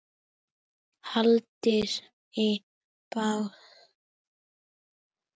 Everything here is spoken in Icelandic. Hendist í burtu.